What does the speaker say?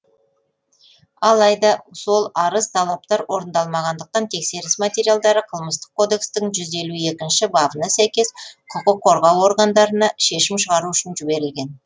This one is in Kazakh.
алайда сол арыз талаптар орындалмағандықтан тексеріс материалдары қылмыстық кодекстің жүз елу екінші бабына сәйкес құқық қорғау органдарына шешім шығару үшін жіберілген